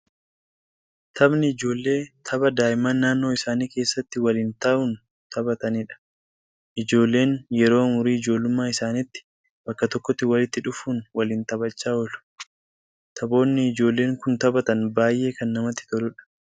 Taphni ijoollee tapha daa'imman naannoo isaanii keessatti waliin ta'uun taphataniidha. Ijoolleen yeroo umurii ijoollummaa isaanitti bakka tokkotti walitti dhufuun waliin taphachaa oolu. Taphoonni ijoolleen kun taphatan baay'ee kan namatti toluudha.